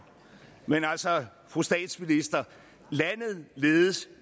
men altså fru statsminister landet ledes